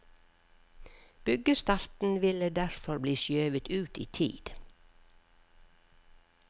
Byggestarten ville derfor bli skjøvet ut i tid.